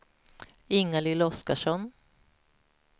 Ingalill Oskarsson